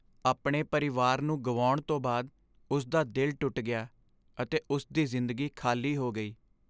ਆਪਣੇ ਪਰਿਵਾਰ ਨੂੰ ਗੁਆਉਣ ਤੋਂ ਬਾਅਦ, ਉਸ ਦਾ ਦਿਲ ਟੁੱਟ ਗਿਆ ਅਤੇ ਉਸ ਦੀ ਜ਼ਿੰਦਗੀ ਖ਼ਾਲੀ ਹੋ ਗਈ।